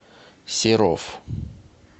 серов